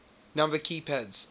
number key pads